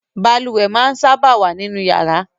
Balùwè máa ń sábà wà nínú yàrá